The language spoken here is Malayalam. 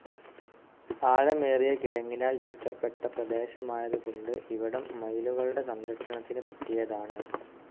ആഴമേറിയ കിടങ്ങിനാൽ ചുറ്റപ്പെട്ട പ്രദേശമായതുകൊണ്ട് ഇവിടം മയിലുകളുടെ സംരക്ഷണത്തിന് പറ്റിയതാണ്.